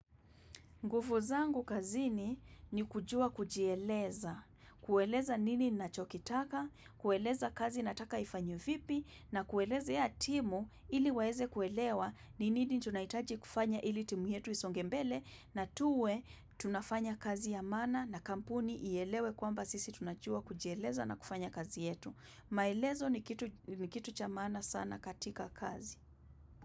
Nguvu zangu kazini ni kujua kujieleza. Kueleza nini nachokitaka, kueleza kazi nataka ifanyo vipi na kueleza ya timu ili waeze kuelewa ni nini tunaitaji kufanya ili timu yetu isonge mbele na tuwe tunafanya kazi ya maana na kampuni ielewe kwamba sisi tunachua kujieleza na kufanya kazi yetu. Maelezo ni kitu cha maana sana katika kazi.